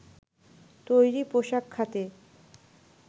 তৈরি পোশাক খাতে